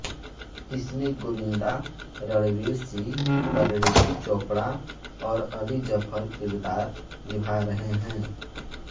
इसमें गोविन्दा रणवीर सिंह परिणीति चोपड़ा और अली जफर किरदार निभा रहे हैं